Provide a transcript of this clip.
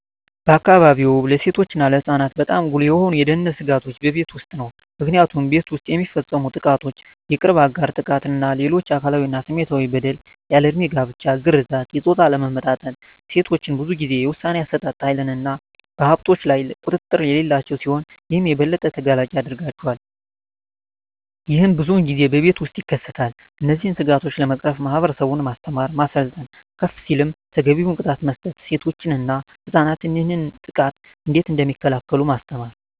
በአካባቢዎ ለሴቶች እና ለህፃናት በጣም ጉልህ የሆኑ የደህንነት ስጋቶች በቤት ውስጥ ነው። ምክንያቱም ቤት ውስጥ የሚፈፀሙ ጥቃቶች የቅርብ አጋር ጥቃት እና ሌሎች አካላዊ እና ስሜታዊ በደል፣ ያልድሜ ጋብቻ፣ ግርዛት፣ የፆታ አለመመጣጠን፣ ሴቶች ብዙን ጊዜ የውሣኔ አሠጣጥ ሀይልና በሀብቶች ላይ ቁጥጥር የሌላቸው ሲሆን ይህም የበለጠ ተጋላጭ ያደርጋቸዋል። ይህም ብዙን ጊዜ በቤት ውስጥ ይከሰታል። እነዚህን ስጋቶች ለመቅረፍ ማህበረሰቡን ማስተማር፣ ማሰልጠን፣ ከፍ ሲልም ተገቢውን ቅጣት መስጠት፣ ሴቶች እና ህፃናት ይህንን ጥቃት እንዴት እደሚከላከሉ ማስተማር።